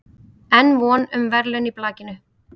Enn von um verðlaun í blakinu